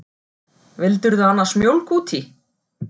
Vildirðu annars mjólk út í?